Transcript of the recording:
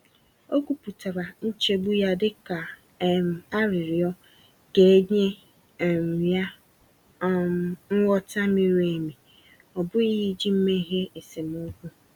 O kwupụtara nchegbu ya dịka um arịrịọ ka e nye um ya um nghọta miri emi, ọ bụghị iji meghee esemokwu.